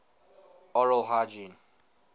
oral hygiene